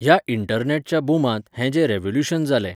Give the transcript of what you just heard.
ह्या इंटरनॅटच्या बुमांत हें जें रेवोल्यूशन जालें